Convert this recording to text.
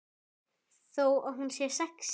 Þó hún sé sexí.